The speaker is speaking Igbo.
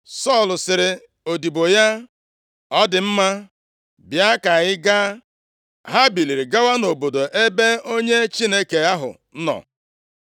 Sọl sịrị odibo ya, “Ọ dị mma, Bịa ka anyị gaa.” Ha biliri gawa nʼobodo ebe onye Chineke ahụ nọ.